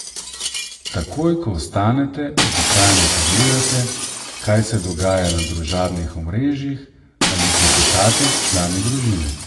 Takoj, ko vstanete običajno pogledate, kaj se dogaja na družabnih omrežjih ali klepetate s člani družine.